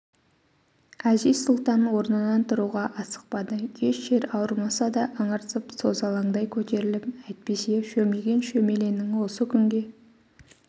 әзиз-сұлтан орнынан тұруға асықпады еш жер ауырмаса да ыңырсып созалаңдай көтеріліп әйтпесе шөмиген шөмеленің осы күнге